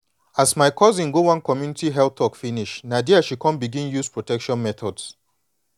as my cousin go one community health talk finish na dea she come begin use protection methods